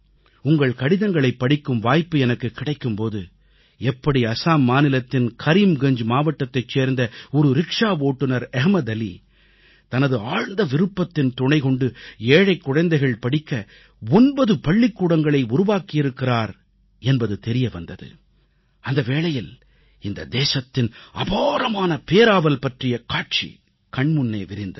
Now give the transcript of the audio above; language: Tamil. உங்கள் கடிதங்களைப் படிக்கும் வாய்ப்பு எனக்குக் கிடைக்கும் போது எப்படி அசாம் மாநிலத்தின் கரீம்கஞ்ஜ் மாவட்டத்தைச் சேர்ந்த ஒரு ரிக்ஷா ஓட்டுனர் அஹ்மத் அலி தனது ஆழ்ந்த விருப்பத்தின் துணை கொண்டு ஏழைக் குழந்தைகள் படிக்க 9 பள்ளிக்கூடங்களை உருவாக்கியிருக்கிறார் என்பது தெரியவந்தது அந்தவேளையில் இந்த தேசத்தின் அபாரமான பேராவல் பற்றிய காட்சி கண்முன்னே விரிந்தது